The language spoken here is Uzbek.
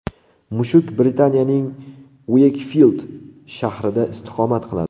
Mushuk Britaniyaning Ueykfild shahrida istiqomat qiladi.